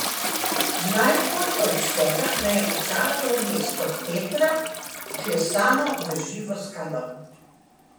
Najbolj od vsega me je očaralo mesto Petra, vklesano v živo skalo.